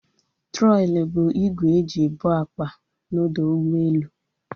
Trọli bụ igwe e ji ebu akpa na ọdọ ụgbọelu